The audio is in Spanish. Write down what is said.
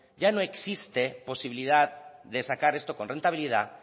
ya no existe posibilidad de sacar esto con rentabilidad